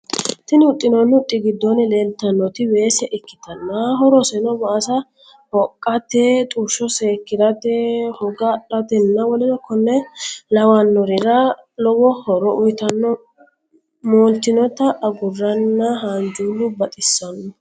Tini huxxinoonni huxxi giddonni leeltannoti weese ikkitanna horoseno waasa hoqqate, xushsho seekkirate, hoga adhate nna woleno konne lawannorira lowo horo uyitanno. moltinnota agurranna haanjullu baxissanno.